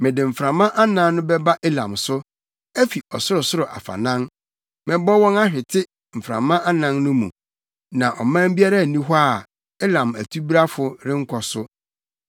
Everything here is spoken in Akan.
Mede mframa anan no bɛba Elam so afi ɔsorosoro afanan; mɛbɔ wɔn ahwete mframa anan no mu, na ɔman biara nni hɔ a Elam atubrafo renkɔ so.